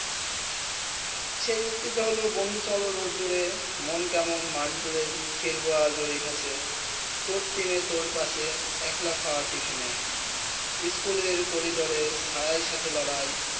সেই যুগটি তা হলো বন্ধ চলে রোদ্রে মন কেমন ম্যান্টজড খেলবো আজ ওই ঘাসে তোর টিমে তোর পাশে একলা খৰা টিফিনে ইস্কুল করিডোরে সহায় সাথে লড়াই